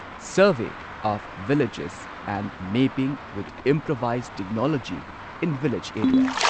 survey of villages and mapping with improvise technology in village areas